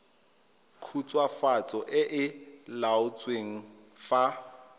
khutswafatso e e laotsweng fa